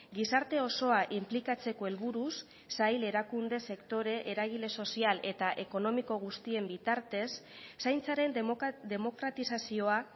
gizarte osoa inplikatzeko helburuz sail erakunde sektore eragile sozial eta ekonomiko guztien bitartez zaintzaren demokratizazioa